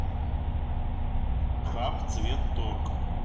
хабцветторг